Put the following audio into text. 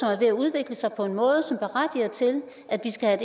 er ved at udvikle sig på en måde som berettiger til at de skal